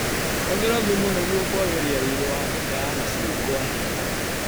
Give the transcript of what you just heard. Hũthĩra thumu nĩguo kwagĩria riri wa mĩtĩ ya macungwa.